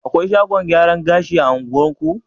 Akwai shagon gyaran gashi a unguwarku?